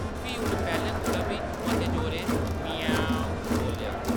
फ्ही उन पैह्‌लें कोला बी मते जोरै‌ ‘म्याऊं...’ बोल्लेआ।